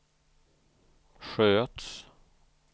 sköts